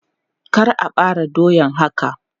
Kar a bare doyan haka!